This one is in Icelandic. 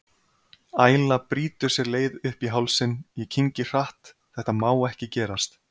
Æla brýtur sér leið upp í hálsinn, ég kyngi hratt, þetta má ekki gerast.